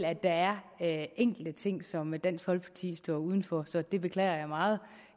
at der er enkelte ting som dansk folkeparti står uden for så det beklager jeg meget